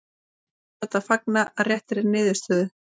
Menn hljóta að fagna réttri niðurstöðu.